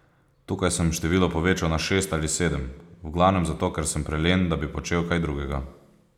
Tukaj sem število povečal na šest ali sedem, v glavnem zato ker sem prelen, da bi počel kaj drugega.